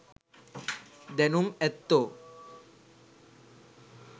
දැනුම් ඇත්තෝ